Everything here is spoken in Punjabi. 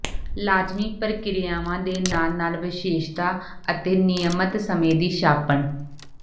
ਲਾਜ਼ਮੀ ਪ੍ਰਕਿਰਿਆਵਾਂ ਦੇ ਨਾਲ ਨਾਲ ਵਿਸ਼ੇਸ਼ਤਾ ਅਤੇ ਨਿਯਮਤ ਸਮੇਂ ਦੀ ਛਾਪਣ